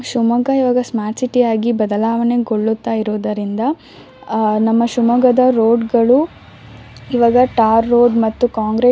ಶಿಮೊಗ್ಗಾ ಈವಾಗ smart city ಆಗಿ ಬದಲಾವಣೆಗೊಳ್ಳುತ್ತಾ ಇರುವುದರಿಂದ ಅಹ್ ನಮ್ಮ ಶಿಮೊಗ್ಗದ ರೋಡ್ ಗಳು ಈವಾಗ ಟಾರ್ ರೋಡ್ ಮತ್ತು ಕಾಂಕ್ರಿಟ್ --